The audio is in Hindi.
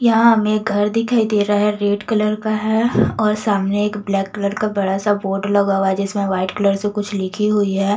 यहां हमें एक घर दिखाई दे रहा है रेड कलर का है और सामने एक ब्लैक कलर का बड़ा सा बोर्ड लगा हुआ है जिसमें व्हाइट कलर से कुछ लिखी हुई है।